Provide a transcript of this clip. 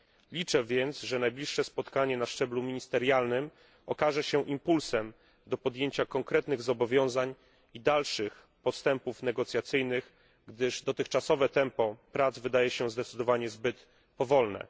Liczę więc, że najbliższe spotkanie na szczeblu ministerialnym okaże się impulsem do podjęcia konkretnych zobowiązań i dalszych postępów negocjacyjnych, gdyż dotychczasowe tempo prac wydaje się zdecydowanie zbyt powolne.